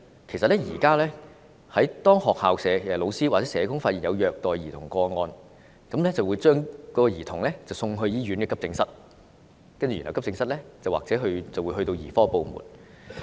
其實現時當學校教師或社工發現有虐待兒童個案，便會將該兒童送到醫院急症室，然後急症室或會轉介至兒科部門。